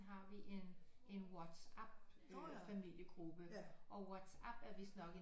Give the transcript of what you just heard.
Har vi en Whatsapp familiegruppe og Whatsapp er vidst nok en